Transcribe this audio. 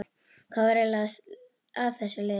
Hvað var eiginlega að þessu liði?